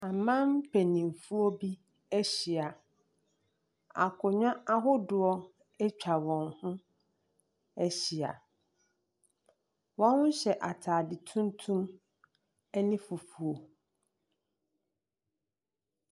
Aman mpanimfoɔ bi ahyia. Akonnwa ahodoɔ atwa wɔn ho ahyia. Wɔhyɛ ataade tuntum ne fufuo.